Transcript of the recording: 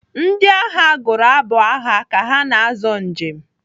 Ndị agha gụrụ abụ agha ka ha na-azọ ije.